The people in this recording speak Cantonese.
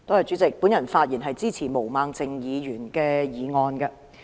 主席，我發言支持毛孟靜議員的議案。